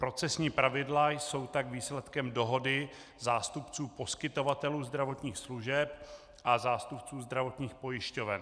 Procesní pravidla jsou tak výsledkem dohody zástupců poskytovatelů zdravotních služeb a zástupců zdravotních pojišťoven.